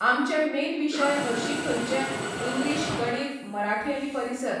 आमचे मेन विशय हरशीं खंयचें इंग्लीश गणीत, मराठी आनी परिसर